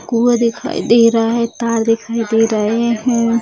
कुआँ दिखाई दे रहा है तार दिखाई दे रहे हैं।